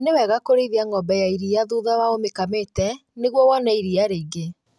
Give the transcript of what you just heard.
Nĩ wega kũrĩithia ng'ombe ya iria thutha wa ũmĩkamĩte nĩguo wone iria rĩingĩ